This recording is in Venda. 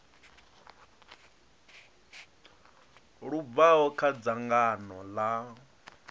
lu bvaho kha dzangano ḽa